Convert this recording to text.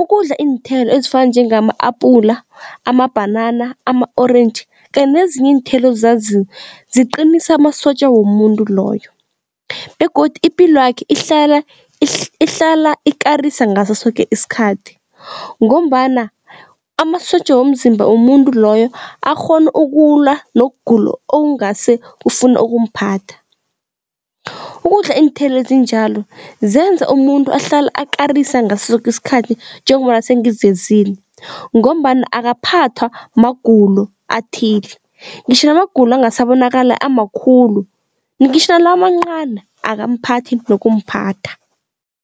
ukudla iinthelo ezifana njengama-apula, amabhanana, ama-orentji kanye nezinye iinthelo ozaziko ziqinisa amasotja womuntu loyo begodu ipilwakhe ihlala ikarisa ngaso soke isikhathi ngombana amasotja womzimba womuntu loyo akghona ukulwa nokugula okungase kufune ukumphatha. Ukudla iinthelo ezinjalo zenza umuntu ahlale akarisa ngaso soke isikhathi njengombana sengivezile ngombana akaphathwa magulo athile ngitjho namagulo angasabonakala amakhulu ngitjho nalawamancani akamphathi nokumphatha.